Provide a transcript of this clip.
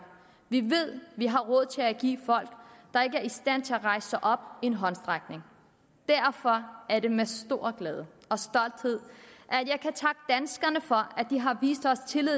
vi ved vi har råd til at give folk der ikke i stand til at rejse sig op en håndsrækning derfor er det med stor glæde og stolthed at for at de har vist os tillid